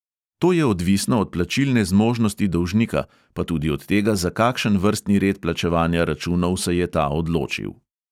To je odvisno od plačilne zmožnosti dolžnika, pa tudi od tega, za kakšen vrstni red plačevanja računov se je ta odločil.